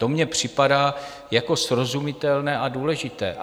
To mně připadá jako srozumitelné a důležité.